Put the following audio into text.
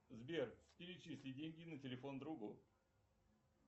сбер перечисли деньги на телефон другу